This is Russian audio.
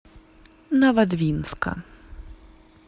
новодвинска